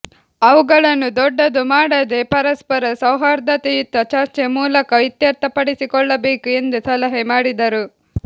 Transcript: ಅವುಗಳನ್ನು ದೊಡ್ಡದು ಮಾಡದೆ ಪರಸ್ಪರ ಸೌಹಾರ್ದಯುತ ಚರ್ಚೆ ಮೂಲಕ ಇತ್ಯರ್ಥಪಡಿಸಿಕೊಳ್ಳಬೇಕು ಎಂದು ಸಲಹೆ ಮಾಡಿದರು